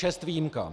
Čest výjimkám.